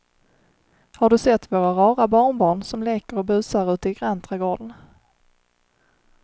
Har du sett våra rara barnbarn som leker och busar ute i grannträdgården!